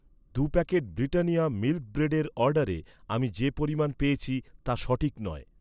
দু'প্যাকেট Britannia milk ব্রেডের অর্ডারে আমি যে পরিমাণ পেয়েছি তা সঠিক নয়।